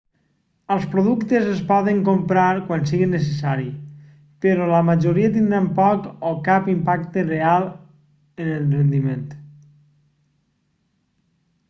els productes es poden comprar quan sigui necessari però la majoria tindran poc o cap impacte real en el rendiment